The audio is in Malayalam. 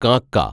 കാക്ക